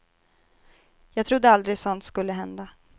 Jag trodde aldrig sådant skulle hända.